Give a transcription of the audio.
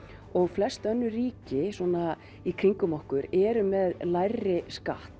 og flest önnur ríki svona í kringum okkur eru með lægri skatt